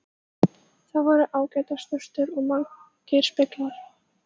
Þar voru ágætar sturtur og margir speglar!